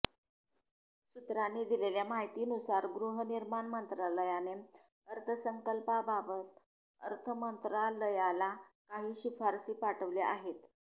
सूत्रांनी दिलेल्या माहितीनुसार गृहनिर्माण मंत्रालयाने अर्थसंकल्पाबाबत अर्थमंत्रालयाला काही शिफारसी पाठवल्या आहेत